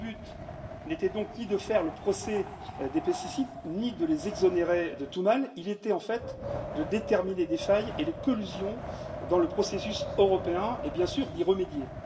Le but n'était donc ni de faire le procès des pesticides ni de les exonérer de tout mal, il était en fait de déterminer les failles et les collusions dans le processus européen, et bien sûr d'y remédier.